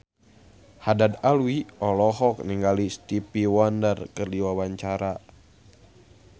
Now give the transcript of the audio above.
Haddad Alwi olohok ningali Stevie Wonder keur diwawancara